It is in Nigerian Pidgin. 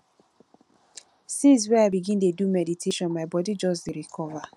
since wey i begin dey do meditation my bodi just dey recover